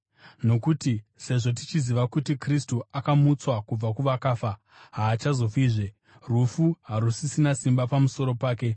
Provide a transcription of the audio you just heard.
Nokuti sezvo tichiziva kuti Kristu akamutswa kubva kuvakafa, haachazofizve; rufu harusisina simba pamusoro pake.